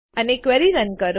અને query run કરો